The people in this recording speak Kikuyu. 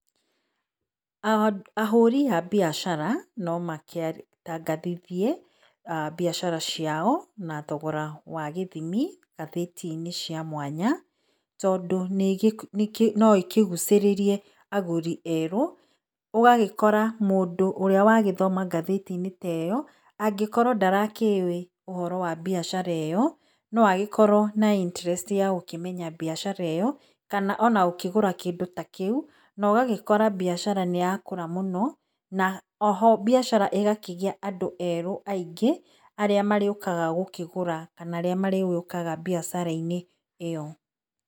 Ahũrĩ a mbiacara no makĩtangathithie mbiacara ciao na thogora wa gĩthĩmĩ ngathĩtĩ-inĩ cĩa mwanya tondũ no ĩkĩgũcĩririe agũrĩ erũ ũgagikora mũndũ ũrĩa wagĩthoma ngatheti-inĩ ta ĩyo akorwo ndarakĩuwĩ ũhoro wa mbiacara iyo no agĩkorwo na [ccs]interest ya gũkĩmenya mbiacara ĩyo kana gũkĩgũra kĩndũ ta kĩu nogagĩkũra mbiacara nĩyagĩkũra mũno na oho mbiacara ĩgakĩgĩa andũ erũ aĩngĩ aríĩ marĩgĩokaga gũkĩgũra kana arĩa marĩgĩukaga mbiacara-inĩ ĩyo.